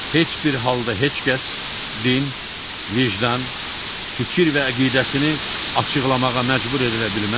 Heç bir halda heç kəs din, vicdan, fikir və əqidəsini açıqlamağa məcbur edilə bilməz